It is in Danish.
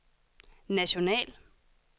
national